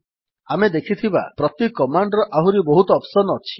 ଆମେ ଦେଖିଥିବା ପ୍ରତି କମାଣ୍ଡ୍ ର ଆହୁରି ବହୁତ ଅପ୍ସନ୍ ଅଛି